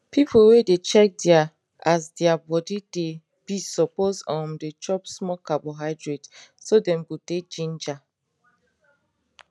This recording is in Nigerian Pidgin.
people wey dey check their as their body de be suppose um de chop small carbohydrate so dem go dey ginger